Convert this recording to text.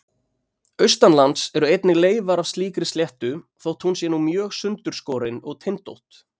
Austanlands eru einnig leifar af slíkri sléttu þótt hún sé nú mjög sundurskorin og tindótt.